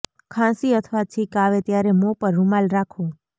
ખાંસી અથવા છીંક આવે ત્યારે મોં પર રૂમાલ રાખો